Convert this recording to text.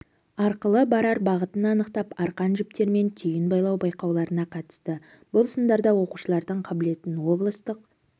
арқылы барар бағытын анықтап арқан жіптермен түйін байлау байқауларына қатысты бұл сындарда оқушылардың қабілетін облыстық